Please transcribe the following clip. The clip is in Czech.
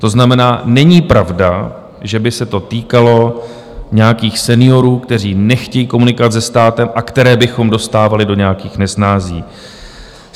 To znamená, není pravda, že by se to týkalo nějakých seniorů, kteří nechtějí komunikovat se státem a které bychom dostávali do nějakých nesnází.